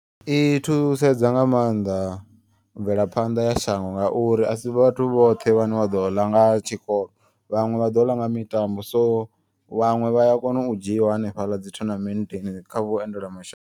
I thusedza nga maanḓa mvelaphanḓa ya shango ngauri asi vhathu vhoṱhe vhane vha ḓo ḽa nga tshikolo. Vhaṅwe vha ḓo ḽa nga mitambo so vhaṅwe vhaya kona u dzhiiwa hanefhaḽa dzi tournament kha vhuendelamashango.